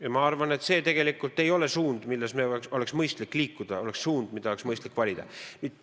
Ja ma arvan, et see ei ole tegelikult suund, milles oleks mõistlik liikuda, suund, mida oleks mõistlik valida.